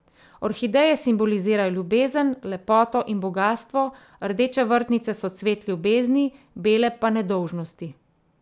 Orhideje simbolizirajo ljubezen, lepoto in bogastvo, rdeče vrtnice so cvet ljubezni, bele pa nedolžnosti.